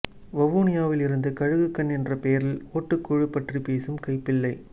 வவுனியாவில் இருந்து கழுகுகண் என்ற பெயரில் ஒட்டுக்குழு பற்றி பேசும் கைப்பிள்ளை